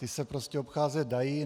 Ty se prostě obcházet dají.